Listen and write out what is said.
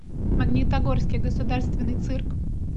магнитогорский государственный цирк